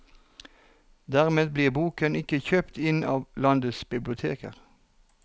Dermed blir boken ikke kjøpt inn av landets biblioteker.